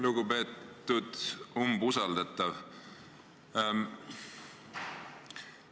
Lugupeetud umbusaldatav!